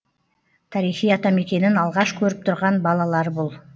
тарихи атамекенін алғаш көріп тұрған балалар бұл